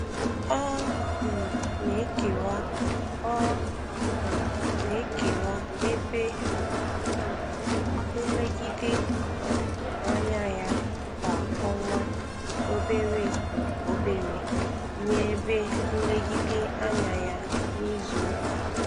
Ọ um na-ekewwa Ọ um na-ekewwa ebe nlegide um anya ya kwa ọnwa obere um obere nye ebe nlegide anya ya n'izu ụka.